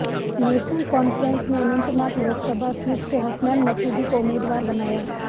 national Conference ने Anantnag Lok Sabha seat से हसनैन मसूदी को उम्मीदवार बनाया